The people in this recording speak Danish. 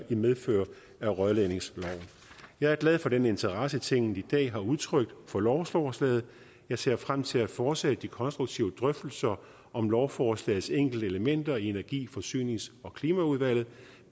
i medfør af rørledningsloven jeg er glad for den interesse tinget i dag har udtrykt for lovforslaget jeg ser frem til at fortsætte de konstruktive drøftelser om lovforslagets enkelte elementer i energi forsynings og klimaudvalget